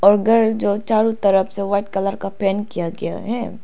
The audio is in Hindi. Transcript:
घर जो चारों तरफ से वाइट कलर का पेंट किया गया है।